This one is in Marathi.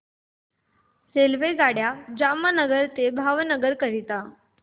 रेल्वेगाड्या जामनगर ते भावनगर करीता